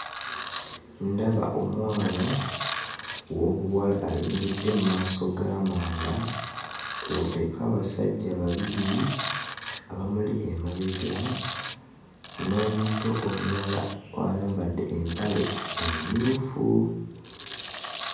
Ndaba omwana ow'obuwala ayimiridde mu maaso g'amanda kw'oteeka abasajja babiri abamuli emabega, n'omuto omulala ayambadde empale emmyufu.